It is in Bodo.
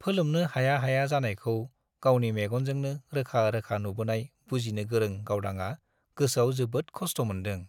फोलोमनो हाया हाया जानायखौ गावनि मेगनजोंनो रोखा रोखा नुबोनाय बुजिनो गोरों गावदांआ गोसोआव जोबोद खस्थ' मोनदों।